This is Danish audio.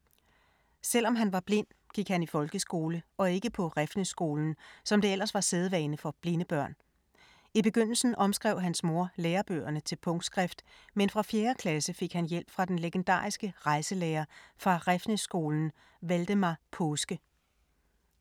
Selv om han var blind, gik han i folkeskole og ikke på Refsnæsskolen, som det ellers var sædvane for blinde børn. I begyndelen omskrev hans mor lærebøgerne til punktskrift, men fra fjerde klasse fik han hjælp fra den legendariske rejselærer fra Refsnæsskolen, Valdemar Paaske.